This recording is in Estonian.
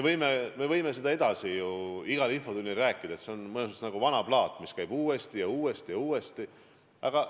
Me võime sellest ju igas infotunnis veelgi rääkida, ent see on mõnes mõttes nagu vana plaat, mis mängib ühte kohta uuesti ja uuesti ja uuesti.